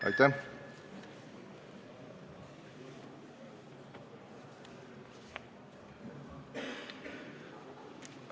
Aitäh!